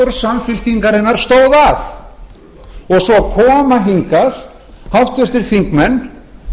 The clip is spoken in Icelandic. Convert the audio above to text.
nestor samfylkingarinnar stóð að svo koma hingað háttvirtir þingmenn